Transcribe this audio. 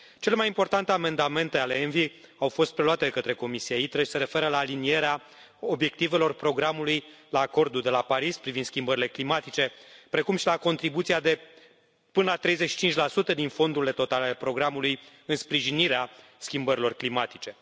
Cele mai importante amendamente ale ENVI au fost preluate de către comisia ITRE și se referă la alinierea obiectivelor programului la acordul de la Paris privind schimbările climatice, precum și la contribuția de până la 35 din fondurile totale ale programului în sprijinirea schimbărilor climatice.